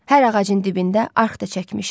Hər ağacın dibində arx da çəkmişəm.